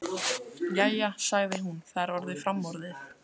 Jæja, sagði hún, það er orðið framorðið.